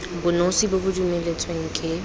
bonosi bo bo dumeletsweng ke